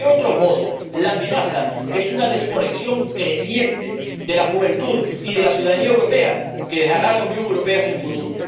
Porque, de otro modo, la amenaza es una desconexión creciente de la juventud y de la ciudadanía europea, que dejará a la Unión Europea sin futuro.